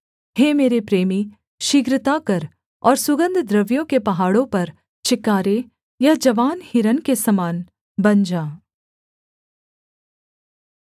हे मेरे प्रेमी शीघ्रता कर और सुगन्धद्रव्यों के पहाड़ों पर चिकारे या जवान हिरन के समान बन जा